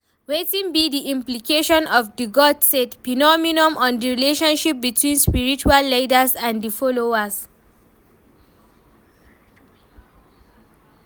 Wetin be di implication of di 'God said' phenomenon on di relationship between spiritual leaders and di followers?